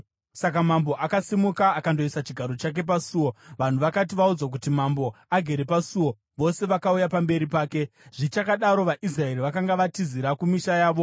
Saka mambo akasimuka akandoisa chigaro chake pasuo. Vanhu vakati vaudzwa kuti, “Mambo agere pasuo,” vose vakauya pamberi pake. Dhavhidhi anodzokera kuJerusarema Zvichakadaro, vaIsraeri vakanga vatizira kumisha yavo.